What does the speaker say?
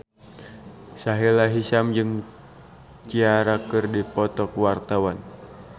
Sahila Hisyam jeung Ciara keur dipoto ku wartawan